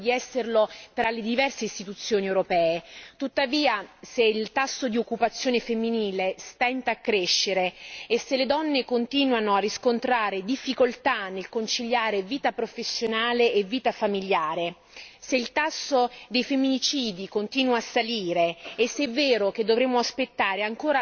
Tuttavia, se il tasso di occupazione femminile stenta a crescere, se le donne continuano a riscontrare difficoltà nel conciliare vita professionale e vita familiare, se il tasso di femminicidi continua a salire e se è vero che dovremo aspettare ancora sessant'anni per ottenere la parità salariale